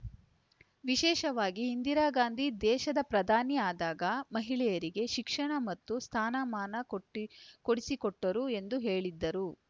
ವಿಶೇಷವಾಗಿ ಇಂದಿರಾ ಗಾಂಧಿ ದೇಶದ ಪ್ರಧಾನಿ ಆದಾಗ ಮಹಿಳೆಯರಿಗೆ ಶಿಕ್ಷಣ ಮತ್ತು ಸ್ಥಾನಮಾನ ಕೊಟ್ಟಿ ಕೊಡಿಸಿಕೊಟ್ಟರು ಎಂದು ಹೇಳಿದರು